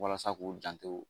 Walasa k'u janto